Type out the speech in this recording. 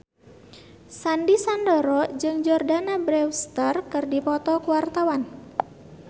Sandy Sandoro jeung Jordana Brewster keur dipoto ku wartawan